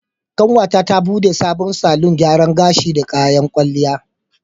Ƙanwata ta bude sabon salon gyaran gashi da kayan kwalliya.